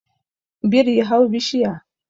biri hau bishiya